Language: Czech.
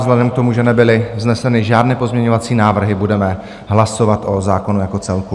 Vzhledem k tomu, že nebyly vzneseny žádné pozměňovací návrhy, budeme hlasovat o zákonu jako celku.